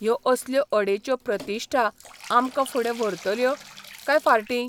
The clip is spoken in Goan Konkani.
ह्यो असल्यो अडेच्यो प्रतिश्ठा आमकां फुडें व्हरतल्यो, काय फार्टी?